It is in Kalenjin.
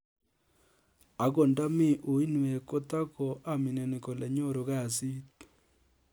Akot nda mii uiinweek kotako amineni kole nyoruu kasiit